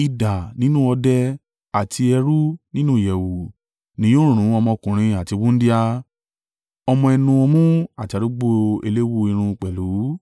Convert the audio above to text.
Idà ní òde, àti ẹ̀rù nínú ìyẹ̀wù, ni yóò run ọmọkùnrin àti wúńdíá. Ọmọ ẹnu ọmú àti arúgbó eléwú irun pẹ̀lú.